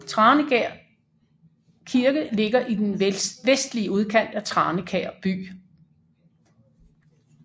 Tranekær Kirke ligger i den vestlige udkant af Tranekær By